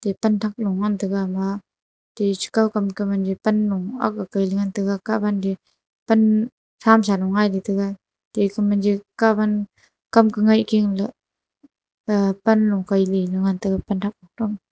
panthak long taga ma echi kao pan kui lele ngan taga kah gan te pan tha shan nu hna thaga panthak to.